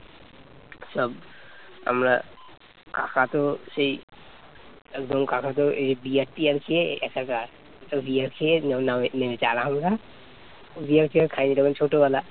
একদম কাকাতো বিয়ার টিয়ার খেয়ে একাকারবিয়ার খেয়ে নেমেছে আর আমরা বিয়ার টিআর খাইনি তখন ছোটবেলা